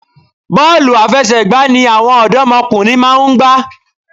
Bọ́ọ̀lù àfẹsẹ̀gbá ni àwọn òdọ́mọkùnrin máa ń gbá.